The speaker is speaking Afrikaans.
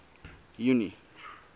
junie